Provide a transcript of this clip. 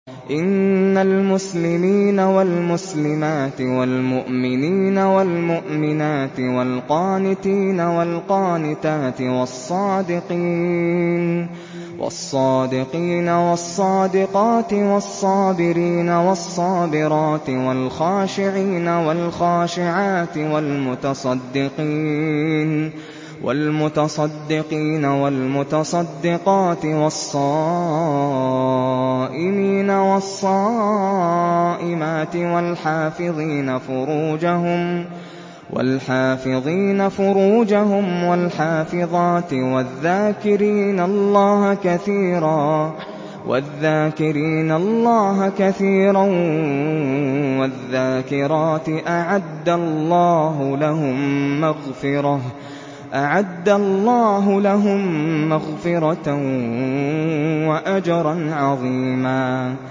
إِنَّ الْمُسْلِمِينَ وَالْمُسْلِمَاتِ وَالْمُؤْمِنِينَ وَالْمُؤْمِنَاتِ وَالْقَانِتِينَ وَالْقَانِتَاتِ وَالصَّادِقِينَ وَالصَّادِقَاتِ وَالصَّابِرِينَ وَالصَّابِرَاتِ وَالْخَاشِعِينَ وَالْخَاشِعَاتِ وَالْمُتَصَدِّقِينَ وَالْمُتَصَدِّقَاتِ وَالصَّائِمِينَ وَالصَّائِمَاتِ وَالْحَافِظِينَ فُرُوجَهُمْ وَالْحَافِظَاتِ وَالذَّاكِرِينَ اللَّهَ كَثِيرًا وَالذَّاكِرَاتِ أَعَدَّ اللَّهُ لَهُم مَّغْفِرَةً وَأَجْرًا عَظِيمًا